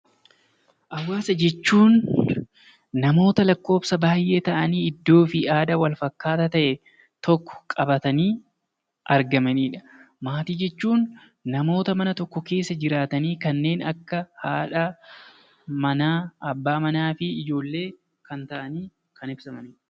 Hawaasa jechuun namoota lakkoobsa baay'ee ta'anii iddoo fi aadaa wal fakkaataa ta'e tokko qabamatanii argamanidha. Maatii jechuun namoota mana tokko keessa jiraatanii kanneen akka haadhaa manaa, abbaa manaa fi ijoollee kan ta'anii kan ibsamanidha.